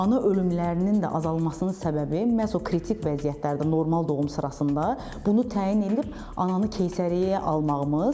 Ana ölümlərinin də azalmasının səbəbi məhz o kritik vəziyyətlərdə normal doğum sırasında bunu təyin edib ananı keysəriyyəyə almağımız.